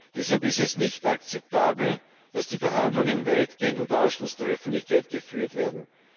Deshalb ist es nicht akzeptabel, dass die Verhandlungen weitgehend unter Ausschluss der Öffentlichkeit geführt werden.